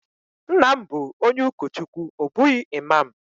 Nna m bu onye ukochukwu o bughi imam.